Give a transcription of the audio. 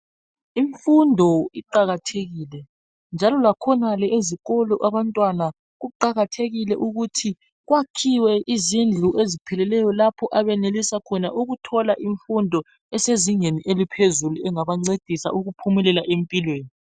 Imfundo iqakathekile njalo lakhonale ezikolo abantwana kuqakathekile ukuthi kwakhiwe izindlu ezipheleleyo lapho abenelisa khona ukuthola imfundo esezingeni eliphezulu engabancedisa ukuphumelela empilweni.